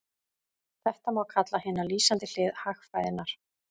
Þetta má kalla hina lýsandi hlið hagfræðinnar.